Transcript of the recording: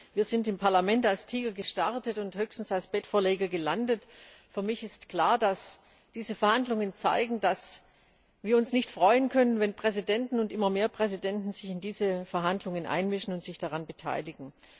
Wir sind im Parlament als Tiger gestartet und höchstens als Bettvorleger gelandet. Für mich ist klar, dass diese Verhandlungen zeigen, dass wir uns nicht freuen können, wenn immer mehr Präsidenten sich in diese Verhandlungen einmischen und sich daran beteiligen.